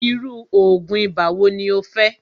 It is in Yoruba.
irú oògùn ibà wo ní o fẹ́?